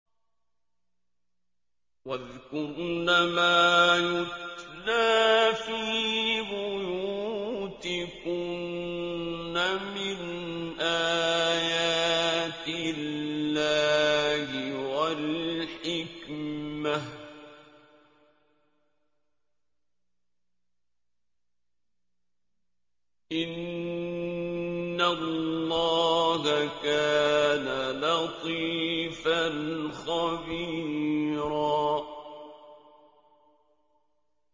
وَاذْكُرْنَ مَا يُتْلَىٰ فِي بُيُوتِكُنَّ مِنْ آيَاتِ اللَّهِ وَالْحِكْمَةِ ۚ إِنَّ اللَّهَ كَانَ لَطِيفًا خَبِيرًا